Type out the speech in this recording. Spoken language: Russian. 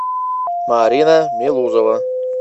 марина мелузова